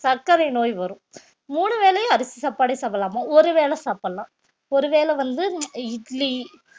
சர்க்கரை நோய் வரும் மூணு வேளையும் அரிசி சாப்பாடே சாப்பிடலாமா ஒருவேளை சாப்பிடலாம் ஒருவேளை வந்து இட்லி